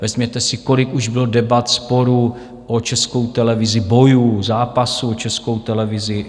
Vezměte si, kolik už bylo debat, sporů o Českou televizi, bojů, zápasů o Českou televizi.